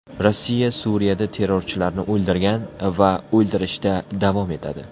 Rossiya Suriyada terrorchilarni o‘ldirgan va o‘ldirishda davom etadi.